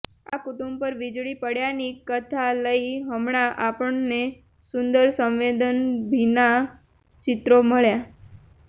આ કુટુંબ પર વીજળી પડ્યાની કથા લઈ હમણાં આપણને સુંદર સંવેદનભીનાં ચિત્રો મળ્યાં